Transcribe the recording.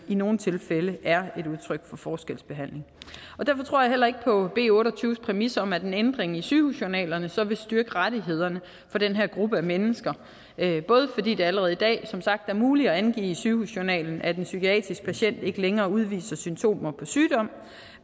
i nogle tilfælde er udtryk for forskelsbehandling derfor tror jeg heller ikke på b otte og tyve præmis om at en ændring i sygehusjournalerne så vil styrke rettighederne for den her gruppe mennesker både fordi det allerede i dag er muligt at angive i sygehusjournalen at en psykiatrisk patient ikke længere udviser symptomer på sygdom